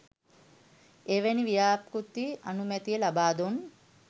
එවැනි ව්‍යාපෘති අනුමැතිය ලබා දුන්